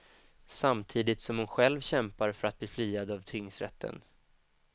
Samtidigt som hon själv kämpar för att bli friad av tingsrätten.